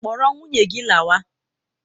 Kpọrọ nwunye gị lawa!